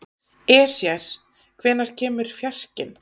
Esjar, hvenær kemur fjarkinn?